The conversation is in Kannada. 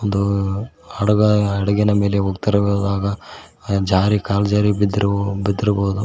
ಒಂದು ಹಡಗ ಹಡಗಿನ ಮೆಲೆ ಹೋಗತೀರಗದಾಗ ಜಾರಿ ಕಾಲ ಜಾರಿ ಬಿದ್ದಿರ ಬಿದ್ದಿರಬೊದು.